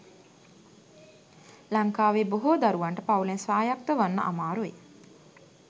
ලංකාවේ බොහෝ දරුවන්ට පවුලෙන් ස්වායක්ත වන්න අමාරුයි.